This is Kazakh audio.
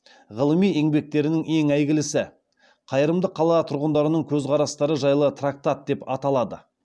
ғылыми еңбектерінің ең әйгілісі қайырымды қала тұрғындарының көзқарастары жайлы трактат деп аталады